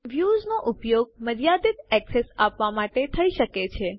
વ્યુંસનો ઉપયોગ મર્યાદિત એક્સેસ આપવાં માટે થઇ શકે છે